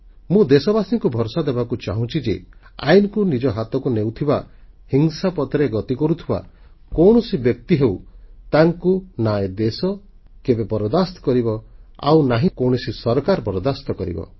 ମୁଁ ଦେଶବାସୀଙ୍କୁ ଭରସା ଦେବାକୁ ଚାହୁଁଛି ଯେ ଆଇନକୁ ନିଜ ହାତକୁ ନେଉଥିବା ହିଂସାପଥରେ ଗତି କରୁଥିବା କୌଣସି ବ୍ୟକ୍ତି ହେଉ ତାଙ୍କୁ ନା ଏ ଦେଶ କେବେ ବରଦାସ୍ତ କରିବ ଆଉ ନା କୌଣସି ସରକାର ବରଦାସ୍ତ କରିବ